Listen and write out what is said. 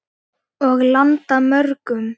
Og landa mörgum.